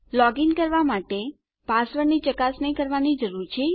login કરવા માટે આપણે પાસવર્ડની ચકાસણી કરવાની જરૂર છે